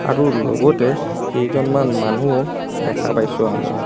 আৰু লগতে কেইজনমান মানু্হো দেখা পাইছো আমি.